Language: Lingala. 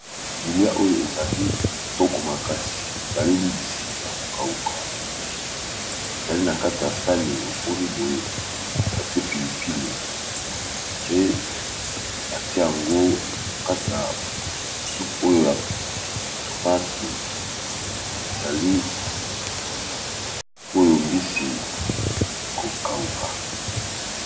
Bilia oyo ezali bitoko makasi ezali mbisi ya kokauka ezali na kata ya sani oboni boye batie pilipili pe batia yango mkata ya soup oyo ya tomati ezali oyo mbisi ya kokawuka.